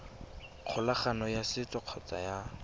kgolagano ya setso kgotsa ya